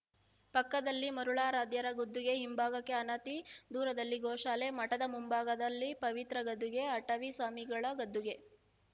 ಪಕ್ಕದಲ್ಲಿ ಮರುಳಾರಾಧ್ಯರ ಗದ್ದುಗೆ ಹಿಂಭಾಗಕ್ಕೆ ಅನತಿ ದೂರದಲ್ಲಿ ಗೋಶಾಲೆ ಮಠದ ಮುಂಭಾಗದಲ್ಲಿ ಪವಿತ್ರ ಗದ್ದುಗೆ ಅಟವಿ ಸ್ವಾಮಿಗಳ ಗದ್ದುಗೆ